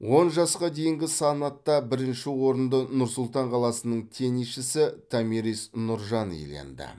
он жасқа дейінгі санатта бірінші орынды нұр сұлтан қаласының теннисшісі томирис нұржан иеленді